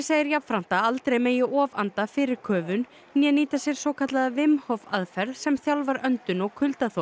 segir jafnframt að aldrei megi ofanda fyrir köfun né nýta sér svokallaða Hof aðferð sem þjálfar öndun og